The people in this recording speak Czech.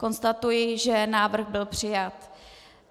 Konstatuji, že návrh byl přijat.